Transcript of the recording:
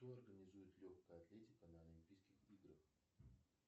кто организует легкая атлетика на олимпийских играх